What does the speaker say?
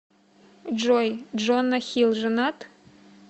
джой джона хилл женат